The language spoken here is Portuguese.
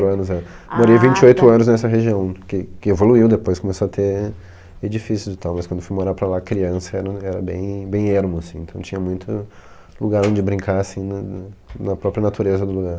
anos, é. Morei vinte e oito anos nessa região, que que evoluiu depois, começou a ter edifícios e tal, mas quando fui morar para lá, criança, era era bem bem ermo, assim, então tinha muito lugar onde brincar, assim, na na própria natureza do lugar.